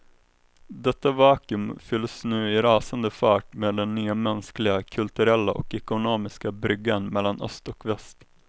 Detta vacuum fylls nu i rasande fart med den nya mänskliga, kulturella och ekonomiska bryggan mellan öst och väst.